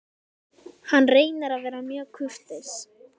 Hann reynir að vera mjög kurteis.